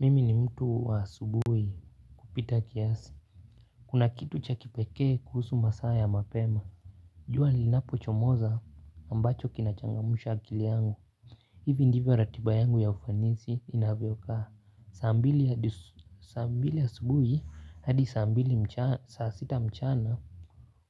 Mimi ni mtu wa asubuhi kupita kiasi. Kuna kitu cha kipekee kuhusu masaa ya mapema. Jua linapo chomoza ambacho kinachangamusha akili yangu. Hivi ndivyo ratiba yangu ya ufanisi inavyokaa. Saa mbili asubuhi hadi saambili mchana saasita mchana